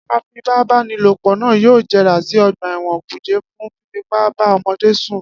Afipábanílòpọ̀ náà yóò jẹrà sí ọgbà ẹ̀wọ̀n kùjé fún fífipá bá ọmọdé sùn